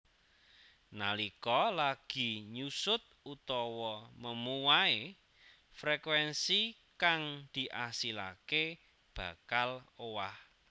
Nalika lagi nyusut utawa memuai frekuénsi kang diasilaké bakal owah